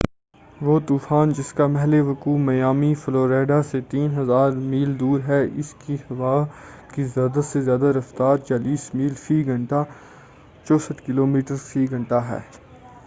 وہ طوفان جس کا محلِ وقوع میامی، فلوریڈا سے 3000 میل دور ہے، اس کی ہوا کی زیادہ سے زیادہ رفتار 40 میل فی گھنٹہ 64 کلو میٹر فی گھنٹہ ہے۔